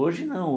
Hoje não.